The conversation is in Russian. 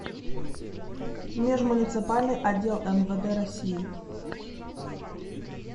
межмуниципальный отдел мвд россии